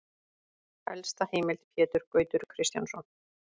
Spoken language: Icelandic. Helsta heimild: Pétur Gautur Kristjánsson.